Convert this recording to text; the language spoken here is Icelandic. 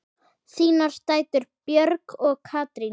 Þínar dætur, Björg og Katrín.